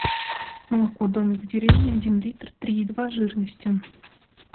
молоко домик в деревне один литр три и два жирности